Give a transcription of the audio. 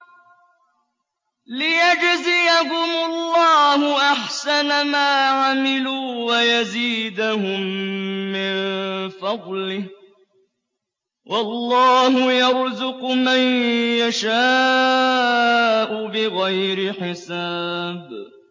لِيَجْزِيَهُمُ اللَّهُ أَحْسَنَ مَا عَمِلُوا وَيَزِيدَهُم مِّن فَضْلِهِ ۗ وَاللَّهُ يَرْزُقُ مَن يَشَاءُ بِغَيْرِ حِسَابٍ